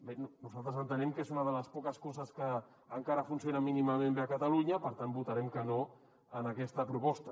bé nosaltres entenem que és una de les poques co·ses que encara funciona mínimament bé a catalunya per tant votarem que no en aquesta proposta